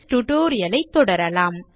நீங்கள் tutorial ஐ தொடரலாம்